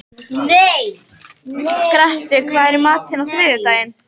Grettir, hvað er í matinn á þriðjudaginn?